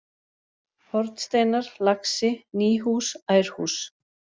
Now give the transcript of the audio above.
Hornsteinar, Laxi, Nýhús, Ærhús